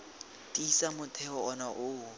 tiisa motheo ono o o